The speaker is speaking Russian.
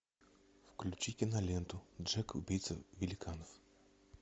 включи киноленту джек убийца великанов